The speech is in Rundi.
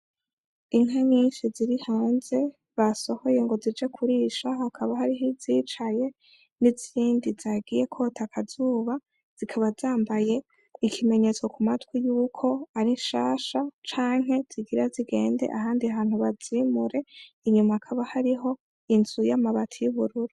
Inka nyinshi ziri hanze, basohoye ngo zije kurisha hakaba hariho izicaye n'izindi zagiye kota akazuba zikaba zambaye ikimenyetso ku matwi yuko ari nshansha canke zigira zigende ahandi hantu bazimure inyuma hakaba hariho inzu y'amabati y'ubururu.